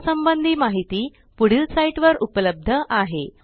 या संबंधी माहिती पुढील साईटवर उपलब्ध आहे